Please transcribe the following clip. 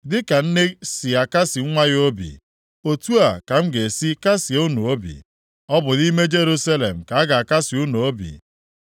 Dịka nne si akasị nwa ya obi, otu a ka m ga-esi kasịe unu obi. Ọ bụ nʼime Jerusalem ka a ga-akasị unu obi.”